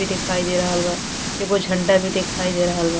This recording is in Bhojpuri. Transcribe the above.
भी दिखाई दे रहल बा। एगो झंडा भी दिखाई दे रहल बा।